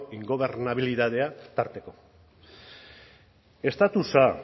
ingobernabilidadea tarteko estatusa